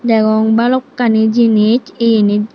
degong balokkani jinis eyenit eyye.